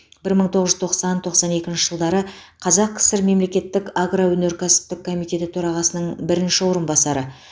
бір мың тоғыз жүз тоқсан тоқсан екінші жылдары қазақ кср мемлекеттік агроөнеркәсіптік комитеті төрағасының бірінші орынбасары